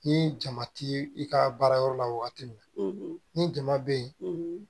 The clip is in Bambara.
Ni jama ti i ka baara yɔrɔ la wagati min ni jama bɛ ye